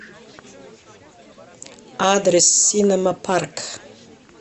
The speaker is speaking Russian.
адрес синема парк